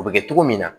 O bɛ kɛ cogo min na